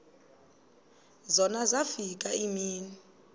zona zafika iimini